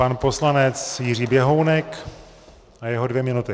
Pan poslanec Jiří Běhounek a jeho dvě minuty.